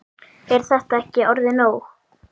Er þetta ekki orðið nóg?